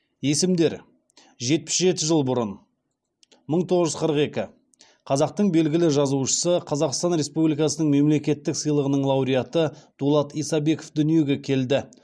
есімдер жетпіс жеті жыл бұрын қазақтың белгілі жазушысы қазақстан республикасының мемлекеттік сыйлығының лауреаты дулат исабеков дүниеге келді